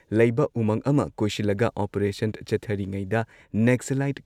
ꯂꯩꯕ ꯎꯃꯪ ꯑꯃ ꯀꯣꯏꯁꯤꯜꯂꯒ ꯑꯣꯄꯔꯦꯁꯟ ꯆꯠꯊꯔꯤꯉꯩꯗ ꯅꯦꯛꯁꯂꯥꯢꯠ